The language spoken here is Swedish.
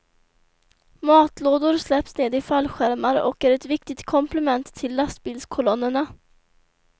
Matlådor släpps ned i fallskärmar och är ett viktigt komplement till lastbilskolonnerna.